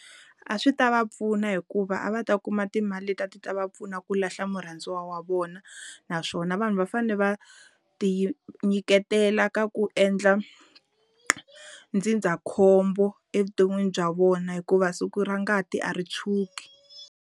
A swi ta va pfuna hikuva a va ta kuma timali leti a ti ta va pfuna ku lahla murhandziwa wa vona naswona vanhu va fane va ti nyiketela ka ku endla ndzindzakhombo evuton'wini bya vona hikuva siku ra ngati a ri tshwuki.